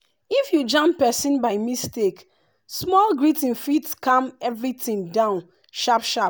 if you jam person by mistake small greeting fit calm everything down sharp sharp.